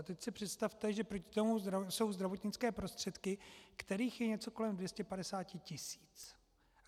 A teď si představte, že proti tomu jsou zdravotnické prostředky, kterých je něco kolem 250 tisíc.